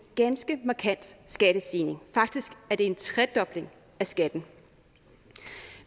ganske markant skattestigning faktisk er det en tredobling af skatten